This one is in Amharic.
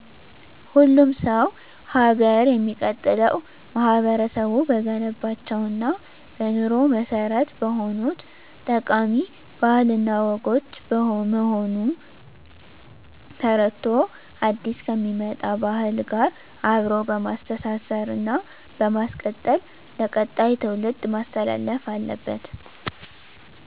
ሁሉም ሰው ሀገር የሚቀጥለው ማህበረቡ በገነባቸው እና በኑሮ መሰረት በሆኑት ጠቃሚ ባህል እና ወጎች በመሆኑን ተረድቶ አዲስ ከሚመጣ ባህል ጋር አብሮ በማስተሳሰር እና በማስቀጠል ለቀጣይ ትውልድ ማስተላለፍ አለበት።